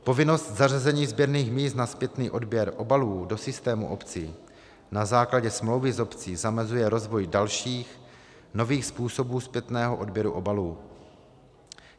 Povinnost zařazení sběrných míst na zpětný odběr obalů do systému obcí na základě smlouvy s obcí zamezuje rozvoj dalších, nových způsobů zpětného odběru obalů.